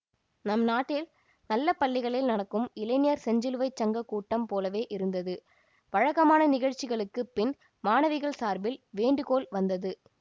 நம் நாட்டில் நல்ல பள்ளிகளில் நடக்கும் இளைஞர் செஞ்சிலுவை சங்க கூட்டம் போலவே இருந்தது வழக்கமான நிகழ்ச்சிகளுக்குப் பின் மாணவிகள் சார்பில் வேண்டுகோள் வந்தது